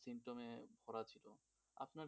symptom এ ভরা ছিল. আপনার কি অবস্থা?